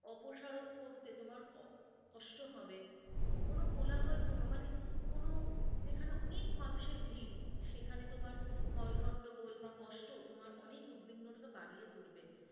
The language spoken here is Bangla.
অপসারণ করতে তোমার কষ্ট হবে কোনো কোলাহল পূর্ণ মানে কোনো, যেখানে অনেক মানুষের ভিড় সেখানে তোমার হৈ হট্টগোল বা কষ্ট তোমার অনেক উদ্বিগ্নটাকে বাড়িয়ে তুলবে।